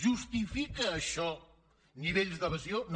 justifica això nivells d’evasió no